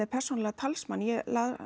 persónulegan talsmann ég